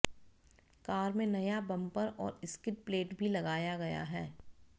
car में नया bumper और स्किड प्लेट भी लगाया गया है